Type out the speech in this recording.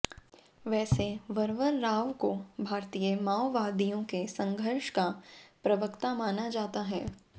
वैसे वरवर राव को भारतीय माओवादियों के संघर्ष का प्रवक्ता माना जाता है